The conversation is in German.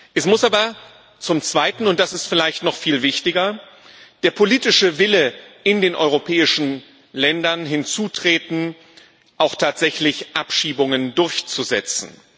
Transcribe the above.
Es muss aber zum Zweiten und das ist vielleicht noch viel wichtiger der politische Wille in den europäischen Ländern hinzutreten, Abschiebungen auch tatsächlich durchzusetzen.